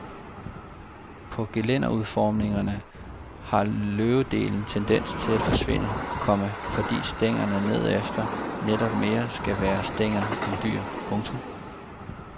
På gelænderudformningerne har løvedelen tendens til at forsvinde, komma fordi stængerne nedefter netop mere skal være stænger end dyr. punktum